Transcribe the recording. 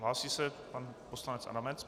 Hlásí se pan poslanec Adamec.